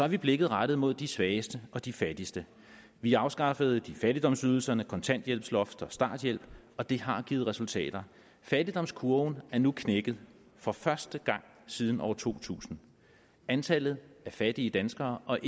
vi blikket rettet mod de svageste og de fattigste vi afskaffede fattigdomsydelserne kontanthjælpsloft og starthjælp og det har givet resultater fattigdomskurven er nu knækket for første gang siden år to tusind antallet af fattige danskere og